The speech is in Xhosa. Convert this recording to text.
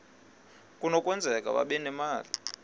kunokwenzeka babe nemali